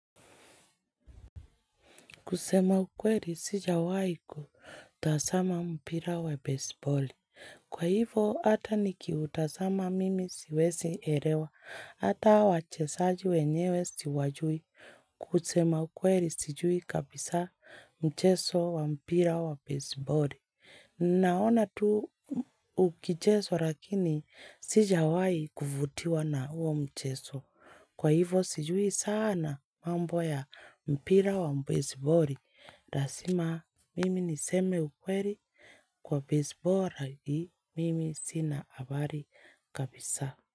Kusema ukweli sijawai kutazama mpira wa baseballi. Kwa hivo hata nikiutazama mimi siwezi elewa. Hata wachezaji wenyewe siwajui. Kusema ukweli sijui kabisa mchezo wa mpira wa baseballi. Naona tu ukichezwa lakini sijawai kuvutiwa na huo mchezo. Kwa hivo sijui sana mambo ya mpira wa mpira wa baseballi. Lasima mimi niseme ukweli kwa baseboli hii mimi sina habari kabisa.